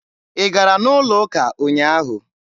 Ị gara n'ụlọ ụka ụnyaahụ?